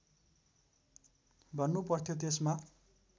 भन्नु पर्थ्यो त्यसमा